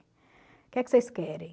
O que é que vocês querem?